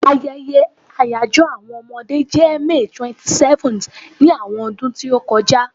Ayeye àyajo àwọn Omode je May 27th ni àwọn ọdún ti o ti kọja